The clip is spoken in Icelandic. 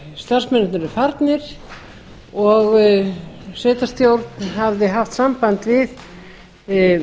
starfsmennirnir eru farnir og sveitarstjórn hafði haft samband við